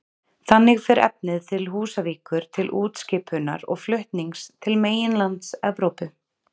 Þannig fer efnið til Húsavíkur til útskipunar og flutnings til meginlands Evrópu.